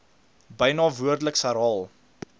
byna woordeliks herhaal